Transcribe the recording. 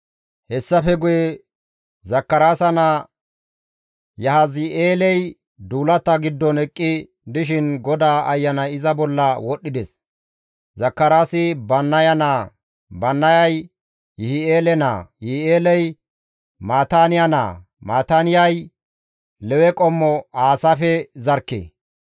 Hessafe guye Zakaraasa naa Yahazi7eeley duulata giddon eqqi dishin GODAA Ayanay iza bolla wodhdhides; Zakaraasi Bannaya naa; Bannayay Yi7i7eele naa; Yi7i7eeley Maataaniya naa; Maataaniyay Lewe qommo Aasaafe zarkke.